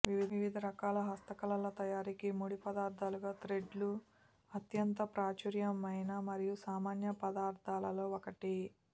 వివిధ రకాల హస్తకళల తయారీకి ముడి పదార్థాలుగా థ్రెడ్లు అత్యంత ప్రాచుర్యమైన మరియు సామాన్య పదార్ధాలలో ఒకటి